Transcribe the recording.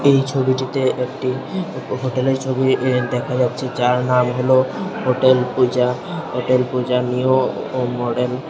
এই ছবিটিতে একটি হোটেলের ছবি ই দেখা যাচ্ছে যার নাম হলো hotel Puja hotel Puja new ও মডেল ।